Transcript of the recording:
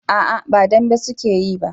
a'a ba dambe su ke yi ba